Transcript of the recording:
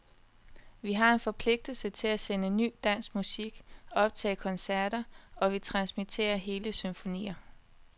Vi har en forpligtelse til at sende ny dansk musik, optage koncerter, og vi transmitterer hele symfonier.